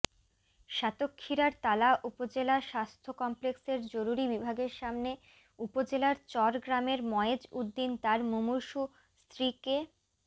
সাতক্ষীরার তালা উপজেলা স্বাস্থ্য কমপ্লেক্সের জরুরি বিভাগের সামনে উপজেলার চরগ্রামের ময়েজ উদ্দিন তার মুমূর্ষু স্ত্রীকে